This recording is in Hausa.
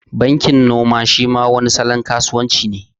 Bankin noma shi ma wani salon kasuwan ci ne